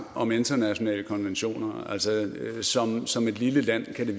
om internationale konventioner som som et lille land kan det